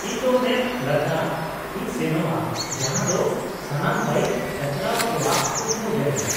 - ᱤᱧ ᱫᱚ ᱢᱮᱢ ᱞᱟᱫᱟᱠᱷ ᱤᱧ ᱥᱮᱱᱚᱜᱼᱟ, ᱡᱟᱦᱟᱸ ᱫᱚ ᱥᱟᱱᱟᱢ ᱵᱟᱭᱤᱠ ᱪᱟᱪᱟᱞᱟᱣ ᱠᱚᱣᱟᱜ ᱠᱩᱠᱢᱩ ᱡᱟᱭᱜᱟ ᱾